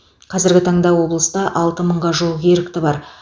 қазіргі таңда облыста алты мыңға жуық ерікті бар